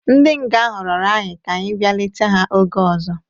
Ndi nga ahụ rirọ anyi ka anyi bia leta ha oge ọzo